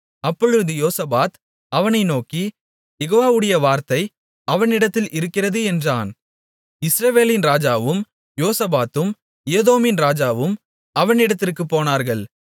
அப்பொழுது யோசபாத் அவனை நோக்கி யெகோவாவுடைய வார்த்தை அவனிடத்தில் இருக்கிறது என்றான் இஸ்ரவேலின் ராஜாவும் யோசபாத்தும் ஏதோமின் ராஜாவும் அவனிடத்திற்குப் போனார்கள்